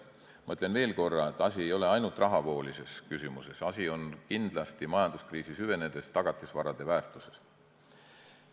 Ma ütlen veel korra, et asi ei ole ainult rahavoolises küsimuses, majanduskriisi süvenedes on asi kindlasti tagatisvarade väärtuses.